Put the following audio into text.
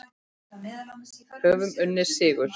Höfum unnið sigur.